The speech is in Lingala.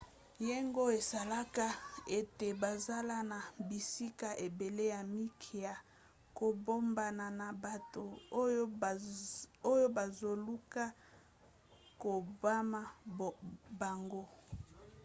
yango esalaka ete bazala na bisika ebele ya mike ya kobombana na bato oyo bazoluka koboma bango